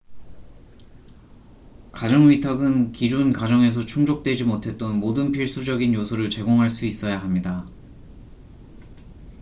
가정 위탁은 기존 가정에서 충족되지 못했던 모든 필수적인 요소를 제공할 수 있어야 합니다